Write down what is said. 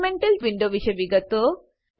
elemental window વિશે વિગતો